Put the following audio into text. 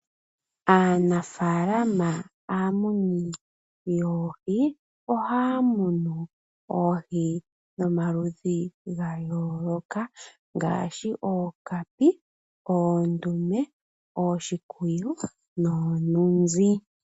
Aanafaalama aamuni yoohi ohaya munu oohi dhomaludhi gayooloka ngaashi ookapi, oondume, ooshikwiyu noo nunzi.